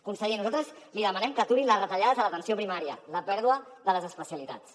conseller nosaltres li demanem que aturin les retallades a l’atenció primària la pèrdua de les especialitats